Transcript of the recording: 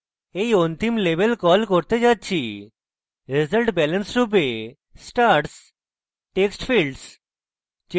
আমি এই অন্তিম label call করতে যাচ্ছি resultbalance রূপে stars text ফীল্ডস